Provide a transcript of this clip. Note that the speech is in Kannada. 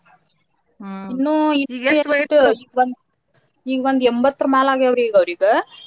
ಈಗ ಒಂದ್ ಎಂಬತ್ತರ ಮ್ಯಾಲ ಆಗ್ಯಾವ್ರಿ ಈಗ ಅವ್ರಿಗ.